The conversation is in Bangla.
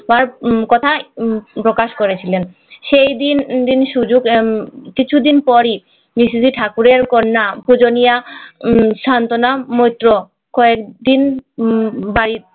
পর কথা প্রকাশ করেছিলেন সেই দিন দিন সুযোগ কিছুদিন পোরি ঠাকুরের কন্যা পূজনীয় সান্ত্বনা মৈত্র কয়েক দিন বাড়ি